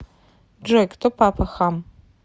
джой кто папа хам